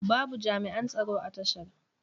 Babu jami'an tsaro a tashar.